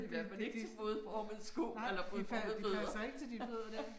Det det det nej det passer ikke til de fødder der